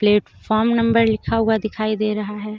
Platform number लिखा हुआ दिखाई दे रहा है.